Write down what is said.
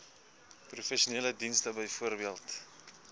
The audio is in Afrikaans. professionele dienste bv